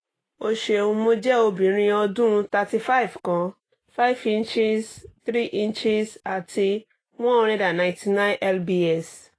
o ṣeun mo jẹ obinrin ọdun thirty five kan five ' three " ati one hundred ninety nine lbs